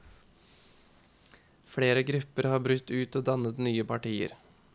Flere grupper har brutt ut og dannet nye partier.